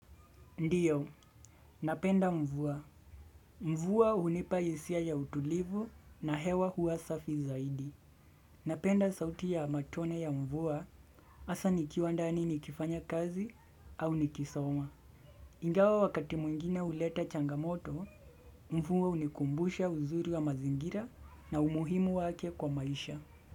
Ndiyo, napenda mvua. Mvua hunipa hisia ya utulivu na hewa huwasafi zaidi. Napenda sauti ya matone ya mvua hasa nikiwa ndani nikifanya kazi au nikisoma. Ingawa wakati mwingine huleta changamoto, mvua hunikumbusha uzuri wa mazingira na umuhimu wake kwa maisha.